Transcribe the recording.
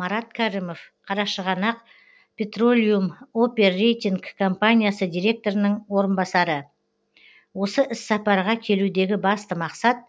марат кәрімов қарашығанақ петролиум оперейтинг компаниясы директорының орынбасары осы іссапарға келудегі басты мақсат